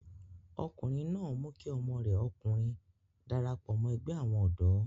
ọkùnrin náà mú kí ọmọ rẹ̀ ọkùnrin darapọ̀ mọ́ ẹgbẹ́ àwọn ọ̀dọ́